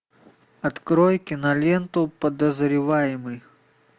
открой киноленту подозреваемый